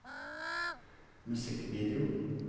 musikkvideo